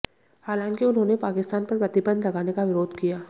हालांकि उन्होंने पाकिस्तान पर प्रतिबंध लगाने का विरोध किया